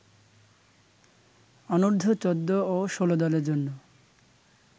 অনুর্ধ-১৪ ও ১৬ দলের জন্য